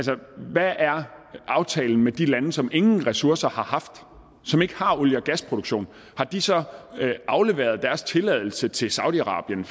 hvad er aftalen med de lande som ingen ressourcer har haft og som ikke har olie og gasproduktion har de så afleveret deres tilladelse til saudi arabien